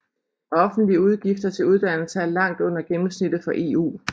Offentlige udgifter til uddannelse er langt under gennemsnittet for EU